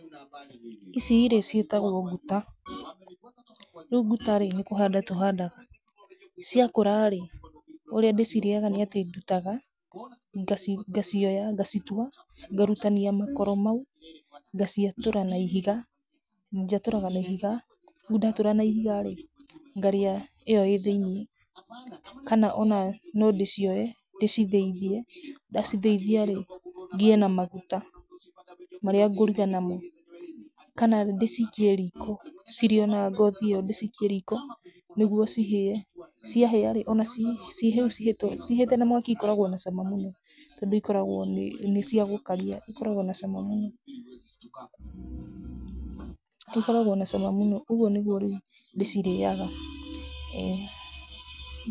Icirĩ ciĩtagwo nguta, rĩu nguta rĩ nĩ kũhanda tũhandaga, cia kũra rĩ ũrĩa ndĩcirĩaga nĩ atĩ nduaga, ngacioha, ngacitua, ngarutania makoro, ngaciatũra na ihiga, njatũraga na ihiga, rĩu ndatũra na ihiga rĩ ngarĩa ĩyo ĩĩ thĩinĩ kana ona nondĩcioe ndĩcithĩithie, ndacithĩithia rĩ, ngĩe na maguta marĩa ngũruga namo, kana ndĩciikie riko cirĩ ona ngothi ĩyo, ndĩcikie riko nĩguo cihĩe, cia hĩa rĩ, ona ciĩ hĩu, cihĩte na mwaki ikoragwo na cama mũno, tondũ ikoragwo nĩ cia gũkaria ikoragwo na cama mũno, ikoragwo na cama mũno, ũguo nĩguo ndĩcirĩaga, ĩĩ.